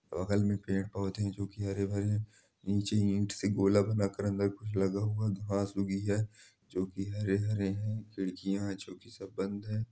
बगल में पेड-पौधे जो की हरे भरे-- निचे इट सी गोला बनाकर कुछ लगा हुआ-- घास उगी है जो के हरे - हरे है खिड़कियाँ बंद है।